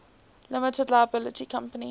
limited liability company